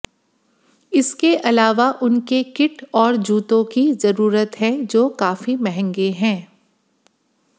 इसके अलावा उनके किट और जूतों की ज़रूरत है जो काफ़ी महंगे हैं